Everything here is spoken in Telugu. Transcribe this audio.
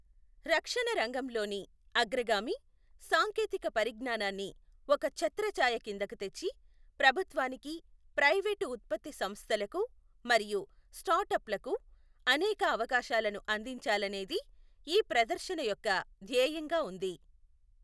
రక్షణ రంగం లోని అగ్రగామి సాంకేతిక పరిజ్ఞానాన్ని ఒక ఛత్రఛాయ కిందకు తెచ్చి, ప్రభుత్వానికి, ప్రైవేటు ఉత్పత్తి సంస్థలకు మరియు స్టార్ట్ అప్ లకు అనేక అవకాశాలను అందించాలనేది ఈ ప్రదర్శన యొక్క ధ్యేయంగా ఉంది.